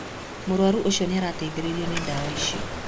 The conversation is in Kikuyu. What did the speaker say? Mũrwaru ũcio nĩarateithirio nĩ dawa icio